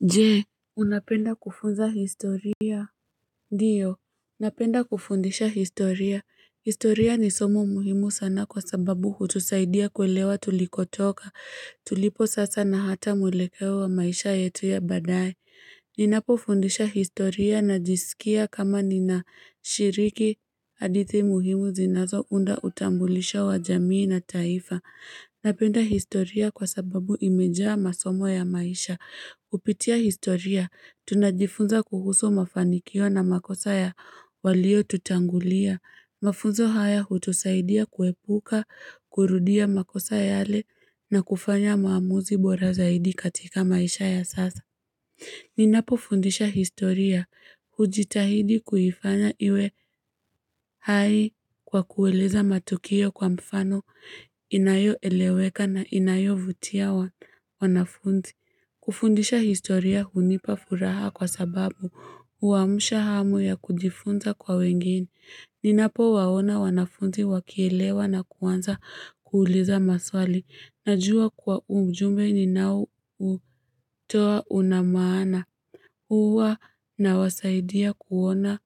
Jee, unapenda kufunza historia? Ndiyo, napenda kufundisha historia. Historia ni somo muhimu sana kwa sababu hutusaidia kuelewa tulikotoka. Tulipo sasa na hata mwelekewe wa maisha yetu ya badaye. Ninapo fundisha historia na jisikia kama ninashiriki hadithi muhimu zinazo unda utambulisha wa jamii na taifa. Napenda historia kwa sababu imejaa masomo ya maisha. Upitia historia, tunajifunza kuhusu mafanikio na makosa ya walio tutangulia. Mafunzo haya hutusaidia kuepuka, kurudia makosa ya ale na kufanya maamuzi bora zaidi katika maisha ya sasa. Ninapo fundisha historia hujitahidi kuhifanya iwe hai kwa kuweleza matukio kwa mfano inayo eleweka na inayo vutia wanafundi. Kufundisha historia hunipa furaha kwa sababu uamusha hamu ya kudifunza kwa wengine. Ninapo waona wanafundi wakielewa na kuwanza kuuliza maswali na jua kwa ujume ni nao utoa unamaana. Huuwa na wasaidia kuona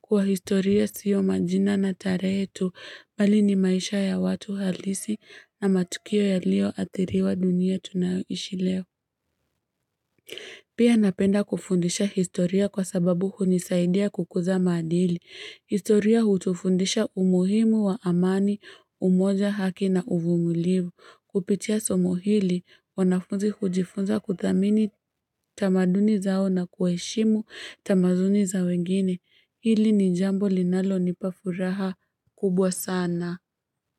kwa historia siyo majina na tarehetu, mbali ni maisha ya watu halisi na matukio ya lio atiriwa dunia tunayohishi leo. Pia napenda kufundisha historia kwa sababu hunisaidia kukuza madili. Historia hutufundisha umuhimu wa amani, umoja haki na uvumulivu. Kupitia somo hili wanafunzi hujifunza kudhamini tamaduni zao na kuheshimu tamazuni za wengine hili ni jambo linalo nipafuraha kubwa sana.